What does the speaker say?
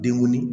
Denw